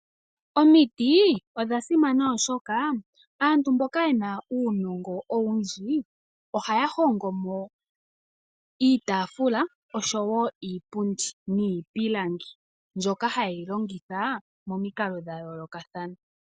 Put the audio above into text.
Omiti odha simana oshoka aantu mboka yena unongo owundji oha hongomo iitafula osho wo iipundi nipilangi mbyoka ha yeyi longitha momiikalo dhayoloka thana.